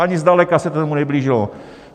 Ani zdaleka se tomu neblížilo.